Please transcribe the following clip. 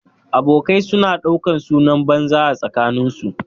Abokai su na ɗaukan sunan banza a tsakanin su